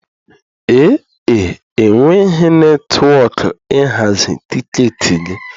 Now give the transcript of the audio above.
Ee e, enweghị netwọkụ ịhazi tiketi gị.